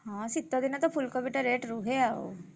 ହଁ ଶୀତ ଦିନେତ ଫୁଲକୋବି ଟା rate ରୁହେ ଆଉ।